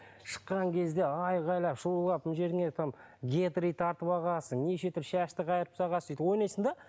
шыққан кезде айғайлап шулап мына жеріңе там гетры тартып алғансың неше түрлі шашты қайырып тастағансың сөйтіп ойнайсың да